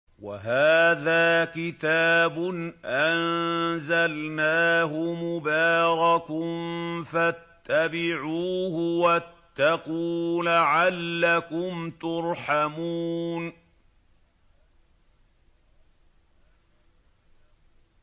وَهَٰذَا كِتَابٌ أَنزَلْنَاهُ مُبَارَكٌ فَاتَّبِعُوهُ وَاتَّقُوا لَعَلَّكُمْ تُرْحَمُونَ